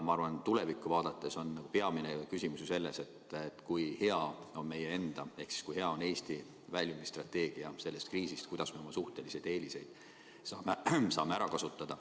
Ma arvan, et tulevikku vaadates on peamine küsimus selles, kui hea on meie enda ehk Eesti kriisist väljumise strateegia, kuidas me oma suhtelisi eeliseid saame ära kasutada.